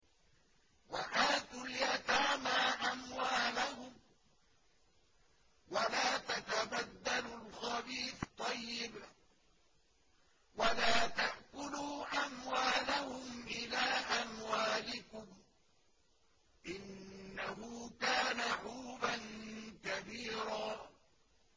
وَآتُوا الْيَتَامَىٰ أَمْوَالَهُمْ ۖ وَلَا تَتَبَدَّلُوا الْخَبِيثَ بِالطَّيِّبِ ۖ وَلَا تَأْكُلُوا أَمْوَالَهُمْ إِلَىٰ أَمْوَالِكُمْ ۚ إِنَّهُ كَانَ حُوبًا كَبِيرًا